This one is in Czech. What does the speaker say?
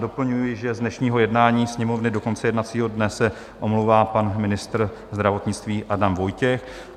Doplňuji, že z dnešního jednání Sněmovny do konce jednacího dne se omlouvá pan ministr zdravotnictví Adam Vojtěch.